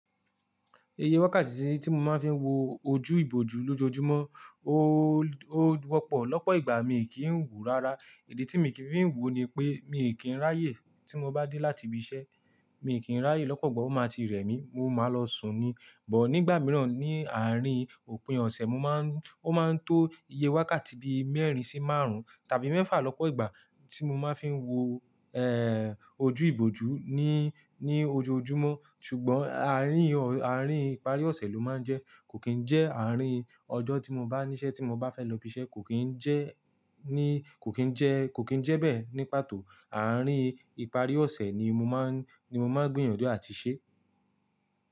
Iye wákàtí tí mo máa ń fi wo ojú ìbòjú lójoojúmọ́, ó, ó wọ́pọ̀ lọ́pọ̀ ìgbà mi kì í ń wòó rárá. Idè tí mi i kì í fi ń wòó ni pé mi kì í ráyè tí mo bá dé láti ibi iṣẹ́, mi kì í ráyè lọ́pọ̀ igba ó máa ti rẹ̀ mí, mo máa lọ sùn ni. But nígbà mìíràn ní àárín òpin ọ̀sẹ̀ mo máa ń, ó máa ń tó iye wákàtí bí mẹ́rin sí márùn-ún tàbí mẹ́fà lọ́pọ̀ ìgbà tí mo máa ń fi wo, ojú ìbòjú ní, ní ojoojúmọ́. Ṣùgbọ́n àárín ọ̀, àárín ìparí ọ̀sẹ̀ ló máa ń jẹ́. Kò kín ń jẹ́ àárín ọjọ́ tí mo bá níṣẹ́ tí mo bá fẹ́ lọ ibi iṣẹ́, kò kín ń jẹ́, ní, kò kín ń jẹ́, kò kín ń jẹ́ bẹ́ẹ̀ ní pàtó. Àárín ìparí ọ̀sẹ̀ ni mo máa ń, ni mo máa ń gbìyànjú àti ṣe.